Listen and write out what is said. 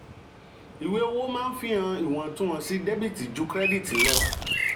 ìwé owó maa ń fihàn iwọntúnwọnsì dẹ́bìtì ju kírẹ́dìtì lọ.